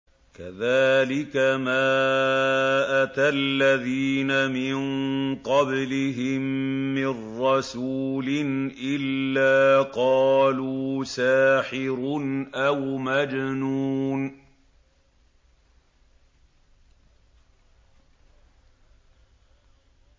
كَذَٰلِكَ مَا أَتَى الَّذِينَ مِن قَبْلِهِم مِّن رَّسُولٍ إِلَّا قَالُوا سَاحِرٌ أَوْ مَجْنُونٌ